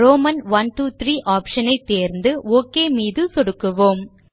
Roman iiiஐ option ஐ தேரந்து ஒக் மீது சொடுக்குவோம்